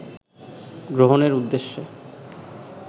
গ্রহণের উদ্দেশ্যে